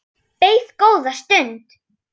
Beið góða stund.